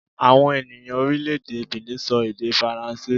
Àwọn ènìyàn orílẹ̀-èdè Benin sọ èdè Faransé